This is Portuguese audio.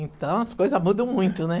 Então, as coisas mudam muito, né?